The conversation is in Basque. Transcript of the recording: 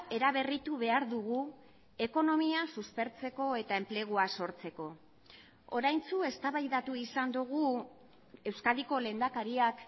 eraberritu behar dugu ekonomia suspertzeko eta enplegua sortzeko oraintxu eztabaidatu izan dugu euskadiko lehendakariak